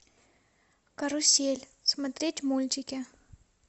карусель смотреть мультики